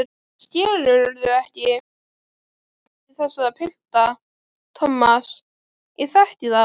Skilurðu ekki, ég þekki þessa pilta, Thomas, ég þekki þá.